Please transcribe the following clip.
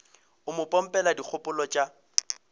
o mo pompela dikgopolo tša